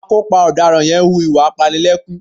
Akópa ọ̀daràn yẹn ń hu ìwà apanilẹ́kún